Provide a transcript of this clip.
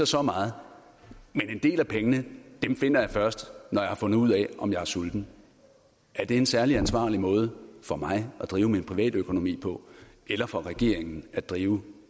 så meget men en del af pengene finder jeg først når jeg har fundet ud af om jeg er sulten er det en særlig ansvarlig måde for mig at drive min privatøkonomi på eller for regeringen at drive